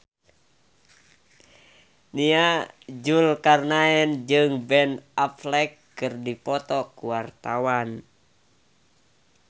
Nia Zulkarnaen jeung Ben Affleck keur dipoto ku wartawan